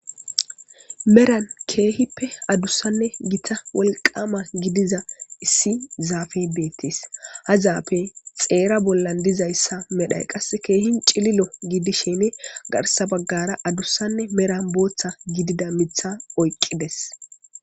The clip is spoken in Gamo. Haysan gita wolqama gidiza issi zafey betes ha zafey xera bola dizaysa medhay kehi cilila gidishin garsan bagara medhon bootha gidiza mitha oyqides